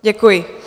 Děkuji.